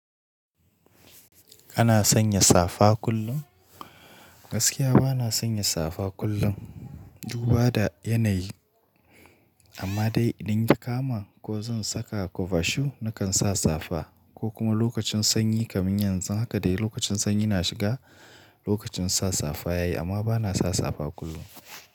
Kana sanya safa kullum? Gaskiya bana sanya safa kullum. Duba da yanayi amma dai in dingi kama ko zan saka kobashu nakan sa safa ko kuma lokacin sanyi kamin yanzu. Haka dai lokacin sanyi na shiga lokacin sa safa yayi amma bana sa safa kullum.